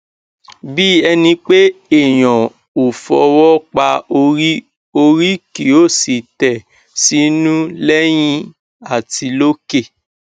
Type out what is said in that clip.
bí ẹni pé èèyàn ó fọwọ pa orí orí kí ó sì tẹ sínú lẹyìn àti lókè